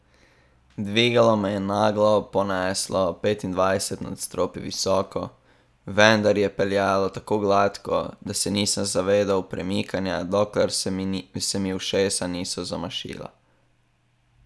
Dvigalo me je naglo poneslo petindvajset nadstropij visoko, vendar je peljalo tako gladko, da se nisem zavedal premikanja, dokler se mi ušesa niso zamašila.